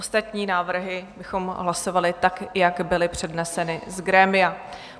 Ostatní návrhy bychom hlasovali tak, jak byly předneseny z grémia.